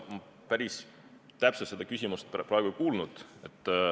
Ma päris täpselt seda küsimust praegu ei kuulnud.